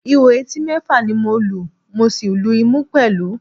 Ihò etí mẹ́fà ni mo lu, mo sì lu ìmú pẹ̀lú